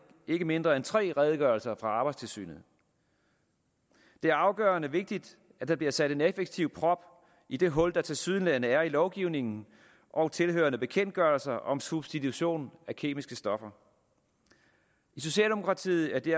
ikke mindre end tre redegørelser fra arbejdstilsynet det er afgørende vigtigt at der bliver sat en effektiv prop i det hul der tilsyneladende er i lovgivningen og tilhørende bekendtgørelser om substitution af kemiske stoffer i socialdemokratiet